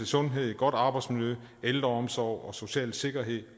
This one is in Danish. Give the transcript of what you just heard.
sundhed godt arbejdsmiljø ældreomsorg og social sikkerhed